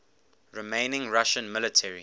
remaining russian military